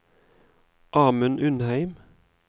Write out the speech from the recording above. Amund Undheim